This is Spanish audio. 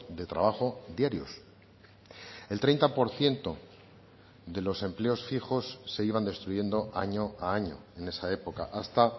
de trabajo diarios el treinta por ciento de los empleos fijos se iban destruyendo año a año en esa época hasta